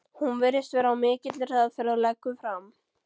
Hún virðist vera á mikilli hraðferð og leggur fram